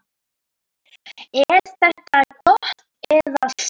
Er þetta gott eða slæmt?